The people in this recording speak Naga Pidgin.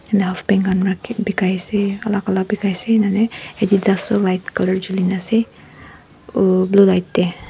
Ena half pant khan rakhi bakai ase alak alak bakai ase ena hoina Adidas toh light colour jhuli na ase uuhh blue light tey.